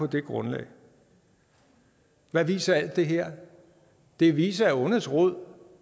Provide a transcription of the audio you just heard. det grundlag hvad viser alt det her det viser selvfølgelig at ondets rod